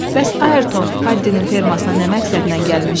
Bəs Ayrton Paddinin fermasına nə məqsədlə gəlmişdi?